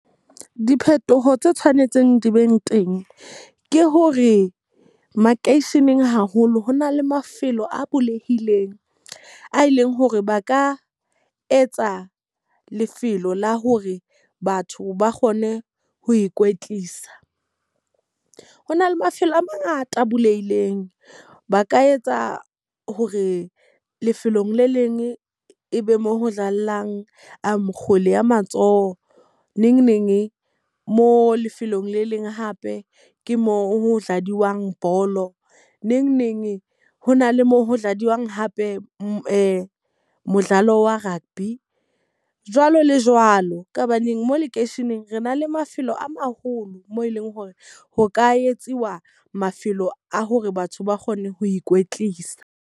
Diphetoho tse tshwanetseng di beng teng, ke hore makeisheneng haholo ho na le mafelo a bulehileng a e leng hore ba ka etsa lefelo la hore batho ba kgone ho ikwetlisa. Ho na le mafelo a mangata bulehileng. Ba ka etsa hore lefelong le leng e be mo ho kgwele ya matsoho. Neng neng mo lefelong le leng hape ke mo ho bolo. Neng neng ho na le moo ho hape wa rugby jwalo le jwalo. Ka hobaneng mo lekeisheneng re na le mafelo a maholo mo e leng hore ho ka etsuwa mafelo a hore batho ba kgone ho ikwetlisa.